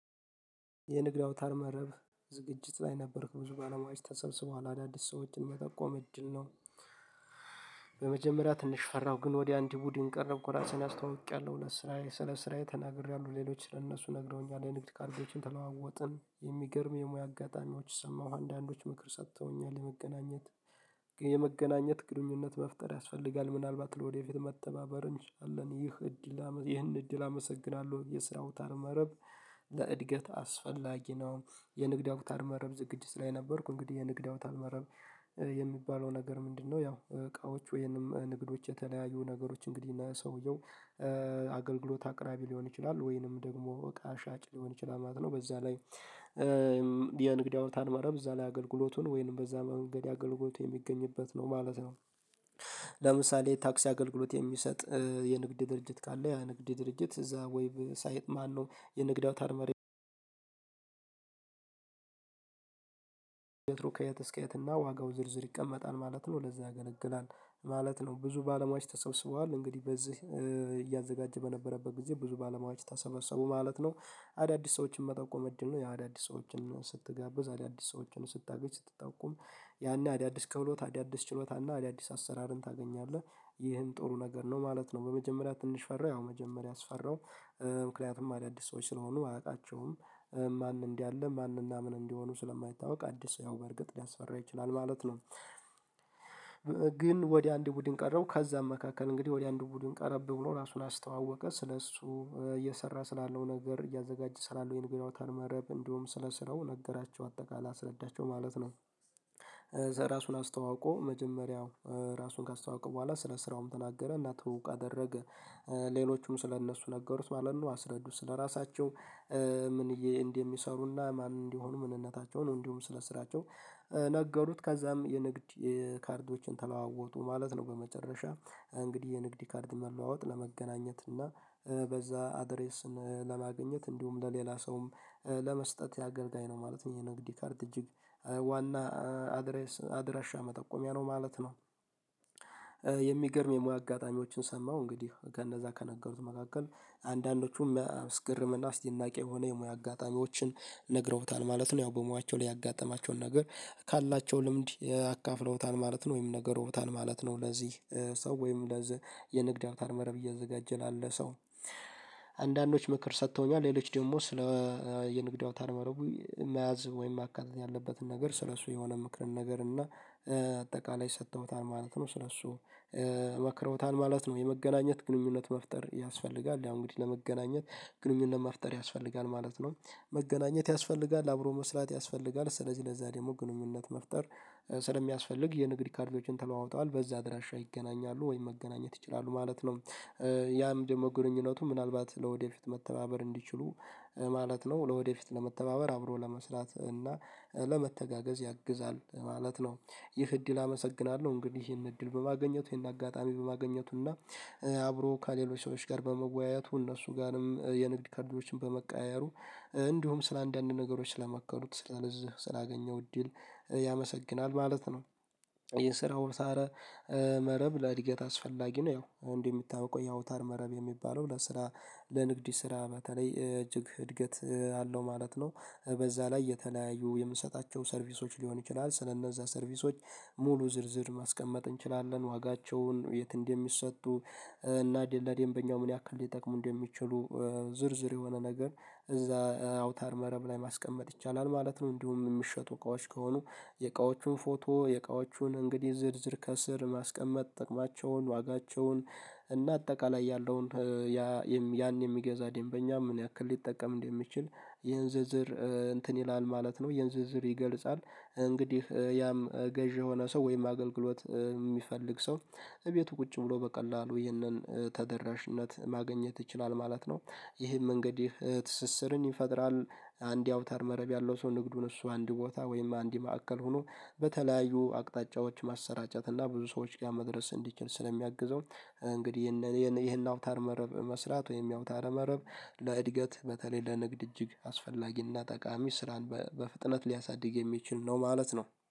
የንግድ አውታር መረብ ዝግጅት ላይ ነበርክ ብዙ ባለ ሙያዎች ተሰብስበዋል አዳዲስ ሰዎችን መጠቆም እድል ነው። በመጀመሪያ ትንሽ ፈራሁ ግን ወደ አንድ ቡድን ቀረብኩ ራሱን አስታውቂያለሁ ስራዬ ስለ ስራዬ ተናግሬያለሁ ሌሎች ለእነሱ ነግረውኛል የንግድ ካርቢዎችን ተለዋወጥን የሚገርም የሙያ አጋጣሚዎች ሰማሁ አንዳንዶች ምክር ሰጥተውኛል የመገናኘት የመገናኘት ግንኙነት መፍጠር ያስፈልጋል ምናልባት ለወደፊት መተባበር እንችላለን ይህ እድል ይህን እድል አመሰግናለሁ የስራው አዉታር መረብ ለእድገት አስፈላጊ ነው። የንግድ አውታር መረብ ዝግጅት ላይ ነበርኩ እንግዲህ የንግድ አውታር መረብ የሚባለው ነገር ምንድነው? ያው እቃዎች ወይም ንግዶች የተለያዩ ነገሮች እንግዲህ እና ሰውየው አገልግሎት አቅራቢ ሊሆን ይችላል ወይንም ደግሞ እቃ ሻጭ ሊሆን ይችላል ማለት ነው። በዛ ላይ የንግድ ያውታር ማለት እዛ ላይ አገልግሎቱን ወይንም በዛ መንገድ አገልግሎት የሚገኝበት ነው ማለት ነው። ለምሳሌ ታክሲ አገልግሎት የሚሰጥ የንግድ ድርጅት ካለ የንግድ ድርጅት እዛ ወይ ሳይጥ ማነው? የንግድ አውታርመር ከየት እስከ የትና ዋጋው ዝርዝር ይቀመጣል ማለት ነው። ለዛ ያገለግላል ማለት ነው። ብዙ ባለሙያዎች ተሰብስበዋል እንግዲህ በዚህ እያዘጋጀ በነበረበት ጊዜ ብዙ ባለሙያዎች ተሰበሰቡ ማለት ነው። አዳዲስ ሰዎችን መጠቆም እጅ ነው የአዳዲስ ሰዎችን ስትጋብዝ አዳዲስ ሰዎችን ስታገዝ ስትጠቁም ያኔ አዳዲስ ክህሎት አዳዲስ ችሎታና አዳዲስ አሰራርን ታገኛለህ። ይህም ጥሩ ነገር ነው ማለት በመጀመሪያ ትንሽ ፈራው ያው መጀመሪያ ያስፈራው ምክንያቱም አዳዲስ ሰዎች ስለሆኑ አያውቃቸውም። ማን እንዲህ አለ ማን እና ምን እንዲሆኑ ስለማይታወቅ አዲስ ያው በርግጥ ሊያስፈራ ይችላል ማለት ነው። ግን ወደ አንድ ቡድን ቀረብ ከዛም መካከል እንግዲህ ወደ አንድ ቡድን ቀረብ ብሎ ራሱን አስተዋወቀ ስለእሱ እየሰራ ስላለው ነገር እያዘጋጀ ስላለው የንግድ አውታር መረብ እንዲሁም ስለስራው ነገራቸው አጠቃላይ አስረዳቸው ማለት ነው። ዘ ራሱን አስተዋውቆ መጀመሪያው ራሱን ካስተዋውቀው በኋላ ስለ ስራውም ተናገረ እና ትውውቅ አደረገ። ሌሎቹም ስለ እነሱ ነገሩት ማለት ነው አስረዱት ስለራሳቸው ምን እንደሚሰሩና ማን እንዲሆኑ ምንነታቸውን እንዲሁም ስለስራቸው ነገሩት ከዛም የንግድ ካርዶችን ተለዋወጡ ማለት ነው። በመጨረሻ እንግዲህ የንግድ ካርድ መለዋወጥ ለመገናኘት እና በዛ አድሬስን ለማግኘት እንዲሁም ለሌላ ሰውም ለመስጠት ያገልጋይ ነው ማለት ነው። ንግድ የካርድ እጅግ ዋና አድሬስ አድራሻ መጠቆሚያ ማለት ነው። የሚገርም የሙያ አጋጣሚዎችን ሰማሁ እንግዲህ ከነዛ ከነገሩት መካከል አንዳንዶቹም ሚአስርምና እስደናቂ የሆነ የሙያ አጋጣሚዎችን ነግረውታል ማለት ነው ያው በሙያቸው ላይ ያጋጠማቸውን ነገር ካላቸው ልምድ አካፍለውታል ማለት ነው ወይም ነግረዉታል ነው ማለት ነው። ለዚህ ሰው ወይም ለዚህ የንግድ አውታር መረብ እያዘጋጀ ላለ ሰው አንዳንዶች ምክር ሰጥተውኛል ሌሎች ደግሞ ስለ የንግድ አውታር መረቡ መያዝ ወይም ማካተት ያለበትን ነገር ስለሱ የሆነ ምክር ነገር እና አጠቃላይ ሰጥተውታል ማለት ነው። ስለሱ መክረውታል ማለት ነው። የመገናኘት ግንኙነት መፍጠር ያስፈልጋል ያው እንግዲህ ለመገናኘት ግንኙነት መፍጠር ያስፈልጋል ማለት ነው። መገናኘት ያስፈልጋል አብሮ መስራት ያስፈልጋል ስለዚህ ለዛ ደግሞ ግንኙነት መፍጠር ስለሚያስፈልግ የንግድ ካርዶችን ተለዋውጧል በዛ አድራሻ ይገናኛሉ ወይም መገናኘት ይችላሉ ማለት ነው። ያም ደግሞ ግንኙነቱ ምናልባት ለወደፊት መተባበር እንዲችሉ ማለት ነው ለወደፊት ለመተባበር አብሮ ለመስራት እና ለመተጋገዝ ያግዛል ማለት ነው። ይህ እድል አመሰግናለሁ እንግዲህ ይሄን እድል በማግኘቱ ይሄን አጋጣሚ በማግኘቱ እና አብሮ ከሌሎች ሰዎች ጋር በመወያየቱ እነሱ ጋርም የንግድ ካርዶችን በመቀያየሩ እንዲሁም ስለ አንዳንድ ነገሮች ስለመከሩት ስለነዚህ ስላገኘው እድል ያመሰግናል ማለት ነው። ይህ ስራውን ሳረ መረብ ለእድገት አስፈላጊ ነው ያው እንዲህ የሚታወቀው የአውታር መረብ የሚባለው ለስራ ለንግድ ስራ በተለይ እጅግ እድገት አለው ማለት ነው። በዛ ላይ የተለያዩ የምሰጣቸው ሰርቪሶች ሊሆን ይችላል ስለእነዛ ሰርቪሶች ሙሉ ዝርዝር ማስቀመጥ እንችላለን ዋጋቸውን የት እንደሚሰጡ እና ለደንበኛው ምን ያክል ሊጠቅሙ እንደሚችሉ ዝርዝር የሆነ ነገር እዛ አውታር መረብ ላይ ማስቀመጥ ይቻላል ማለት ነው። እንዲሁ የሚሸጡ እቃዎች ከሆኑ የእቃዎቹን ፎቶ የእቃዎቹን እንግዲህ ዝርዝር ከስር ማስቀመጥ ጠቅማቸውን ዋጋቸውን እና አጠቃላይ ያለውን ያን የሚገዛ ደንበኛ ምን ያክል ሊጠቀም እንደሚችል ይሄን ዝርዝር እንትን ይላል ማለት ነው። ይሄን ዝርዝር ይገልጻል። እንግዲህ ያም ገዢ የሆነ ሰው ወይም አገልግሎት የሚፈልግ ሰው እቤቱ ቁጭ ብሎ በቀላሉ ይህንን ተደራሽነት ማገኘት ይችላል ማለት ነው። ይህም መንገድ ትስስርን ይፈጥራል አንድ አውታር መረብ ያለው ሰው ንግዱን እሱ አንድ ቦታ ወይም አንድ ማዕከል ሆኖ በተለያዩ አቅጣጫዎች ማሰራጫት እና ብዙ ሰዎች ጋር መድረስ እንዲችል ስለሚያግዘው እንግዲህ ይሄን አውታር መረብ መስራት ወይም ያውታር መረብ ለእድገት በተለይ ለንግድ እጅግ አስፈላጊና ጠቃሚ ስራን በፍጥነት ሊያሳድግ የሚችል ነው ማለት ነው።